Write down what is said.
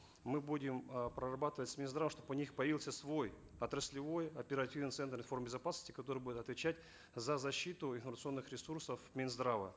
мы будем э прорабатывать с минздравом чтобы у них появился свой отраслевой оперативный центр информ безопасности который будет отвечать за защиту информационных ресурсов минздрава